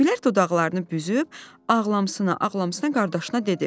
Güllər dodaqlarını büzüb ağlamsına ağlamsına qardaşına dedi: